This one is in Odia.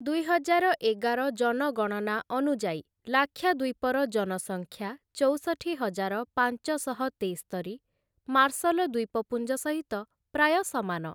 ଦୁଇହଜାର ଏଗାର ଜନଗଣନା ଅନୁଯାୟୀ ଲାକ୍ଷାଦ୍ୱୀପର ଜନସଂଖ୍ୟା ଚଉଷଠି ହଜାର ପାଞ୍ଚ ଶହ ତେସ୍ତରି ମାର୍ଶଲ ଦ୍ୱୀପପୁଞ୍ଜ ସହିତ ପ୍ରାୟ ସମାନ ।